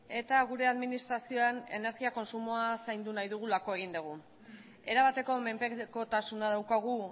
eta gure administrazioan energia kontsumoa zaindu nahi dugulako egin degu erabateko menpekotasuna daukagu